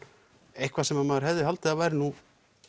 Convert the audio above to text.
eitthvað sem maður hefði haldið að væri nú